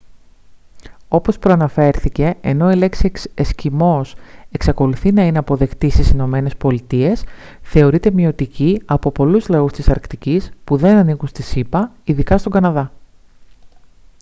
όπως προαναφέρθηκε ενώ η λέξη «εσκιμώος» εξακολουθεί να είναι αποδεκτή στις ηνωμένες πολιτείες θεωρείται μειωτική από πολλούς λαούς της αρκτικής που δεν ανήκουν στις ηπα ειδικά στον καναδά